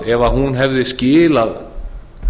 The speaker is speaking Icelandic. ef hún hefði skilað